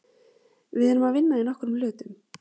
Við erum að vinna í nokkrum hlutum.